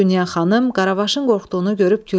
Dünya xanım Qaravaşın qorxduğunu görüb güldü.